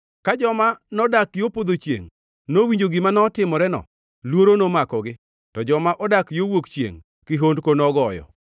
Ka joma nodak yo podho chiengʼ nowinjo gima notimoreno luoro nomakogi, to joma odak yo wuok chiengʼ, kihondko nogoyo.